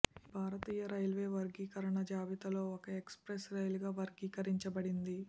ఇది భారతీయ రైల్వే వర్గీకరణ జాబితాలో ఒక ఎక్స్ప్రెస్ రైలుగా వర్గీకరించబడింది